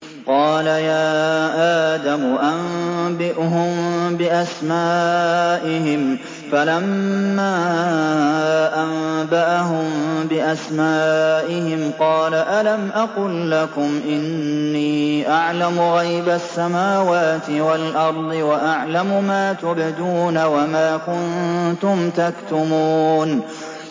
قَالَ يَا آدَمُ أَنبِئْهُم بِأَسْمَائِهِمْ ۖ فَلَمَّا أَنبَأَهُم بِأَسْمَائِهِمْ قَالَ أَلَمْ أَقُل لَّكُمْ إِنِّي أَعْلَمُ غَيْبَ السَّمَاوَاتِ وَالْأَرْضِ وَأَعْلَمُ مَا تُبْدُونَ وَمَا كُنتُمْ تَكْتُمُونَ